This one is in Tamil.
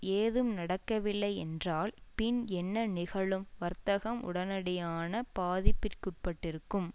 ஏதும் நடக்கவில்லை என்றால் பின் என்ன நிகழும் வர்த்தகம் உடனடியான பாதிப்பிற்குட்பட்டிருக்கும்